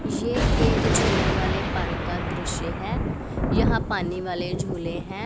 ये एक झूलों वाले पार्क का दृश्य है यहां पानी वाले झूले हैं।